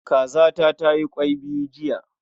Kazata tayi kwai biyu jiya.